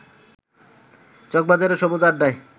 চকবাজারের সবুজ আড্ডায়